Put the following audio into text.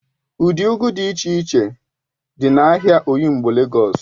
Ụdị ugu dị iche iche dị n'ahịa oyingbo Legọs